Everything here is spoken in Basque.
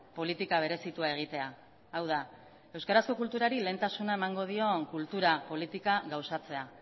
politika berezitua egitea hau da euskarazko kulturari lehentasuna emango dien kultura politika gauzatzea